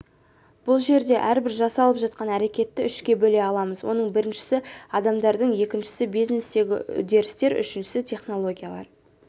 бұл жерде әрбір жасалып жатқан әрекетті үшке бөле аламыз оның біріншісі адамдар екіншісі бизнестегі үдерістер үшіншісі технологиялар